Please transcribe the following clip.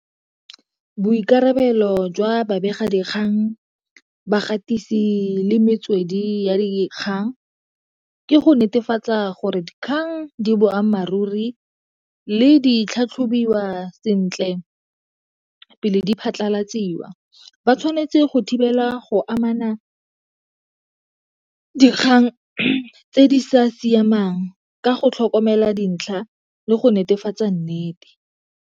Boikarabelo jwa babegadikgang, bagatisi le metswedi ya dikgang ke go netefatsa gore dikgang di boammaaruri le di tlhatlhobiwa sentle tsona pele diphatlalatsiwa. Ba tshwanetse go thibela go amana dikgang tse di sa siamang ka go tlhokomela dintlha le go netefatsa nnete.